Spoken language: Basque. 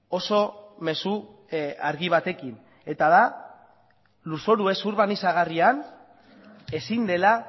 oso mezu argi batekin eta da lurzoru ez urbanizagarrian ezin dela